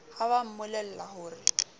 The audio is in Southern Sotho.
ha ba mmolella ho re